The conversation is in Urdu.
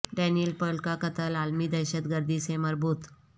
ڈانیل پرل کا قتل عالمی دہشت گردی سے مربوط